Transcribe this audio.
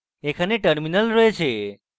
এখানে terminal রয়েছে